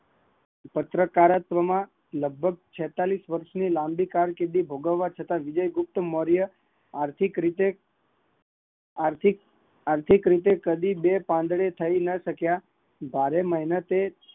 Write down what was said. પત્રકારત્વ માં લગભગ લાંબી કારકિર્દી ભગવા છતાં આર્થિક, આથી રીતે કદી બે પાંદડે થયા નહીં